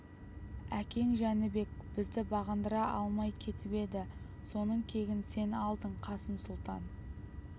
әкең жәнібек бізді бағындыра алмай кетіп еді соның кегін сен алдың қасым сұлтан